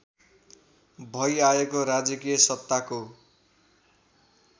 भइआएको राजकीय सत्ताको